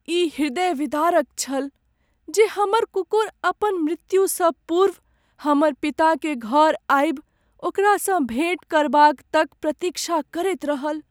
ई ह्रदय विदारक छल जे हमर कुकुर अपन मृत्यु स पूर्व हमर पिताकेँ घर आबि ओकरा सँ भेँट करबाक तक प्रतीक्षा करैत रहल ।